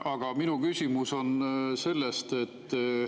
Aga minu küsimus on selle kohta.